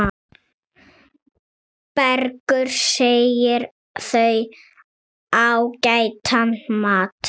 Bergur segir þau ágætan mat.